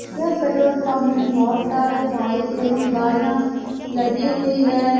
यह petrol pump में बहुत सारे बाइक एवं गाड़ियां लगी हुई है।